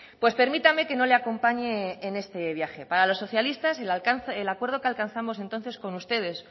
pues permítame que no le acompañe en este viaje para los socialistas el acuerdo que alcanzamos entonces con ustedes